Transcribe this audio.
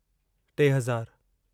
टे हज़ारु